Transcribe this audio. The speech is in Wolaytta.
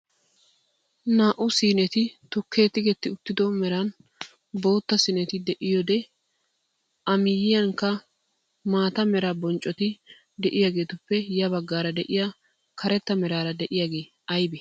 Naa"u siineti tukkee tigetti uttido meran bootta siineti de'iyoode a miyiyaankka maata mera bonccoti de'iyaagetuppe ya baggaara de'iyaa karetta meraara de'iyaagee aybee?